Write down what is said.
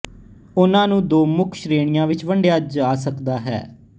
ਉਹਨਾਂ ਨੂੰ ਦੋ ਮੁੱਖ ਸ਼੍ਰੇਣੀਆਂ ਵਿੱਚ ਵੰਡਿਆ ਜਾ ਸਕਦਾ ਹੈ